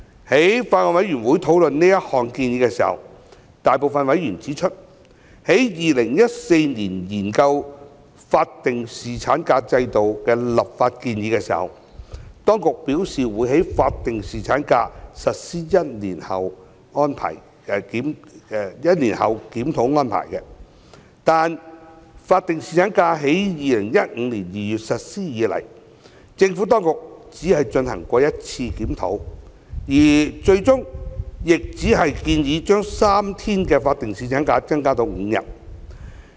在法案委員會討論這項建議時，大部分委員指出，在2014年研究法定侍產假制度的立法建議時，當局表示會於法定侍產假實施1年後檢討安排，但自法定侍產假於2015年2月實施以來，政府當局只進行了一次檢討，而最終亦只建議將3天法定侍產假增加至5天。